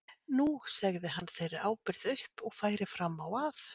Nú segði hann þeirri ábyrgð upp og færi fram á að